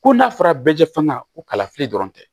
Ko n'a fɔra bɛɛ jɛ fɛna ko kalafili dɔrɔn tɛ